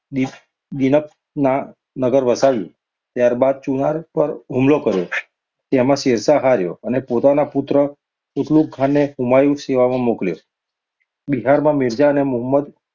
દિન~દીનપનાહ નગર વસાવ્યું. ત્યાર બાદ ચુનાર પર હુમલો કર્યો, તેમાં શેરશાહ હાર્યો અને પોતાના પુત્ર કુંતલુગખાંને હુમાયુની સેવામાં મોક્લ્યો. બિહારમાં મિર્જા અને મુહમ્મદ